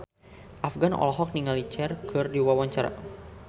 Afgan olohok ningali Cher keur diwawancara